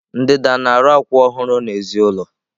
Ndida na-arụ akwụ ọhụrụ n'èzí ụlọ.